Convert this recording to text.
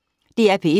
DR P1